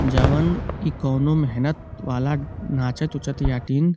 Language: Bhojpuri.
जौवन इ कउनो मेहनत वाला नाचत उचत यातिन।